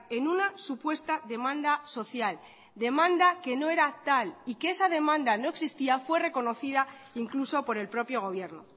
en una supuesta demanda social demanda que no era tal y que esa demanda no existía fue reconocida incluso por el propio gobierno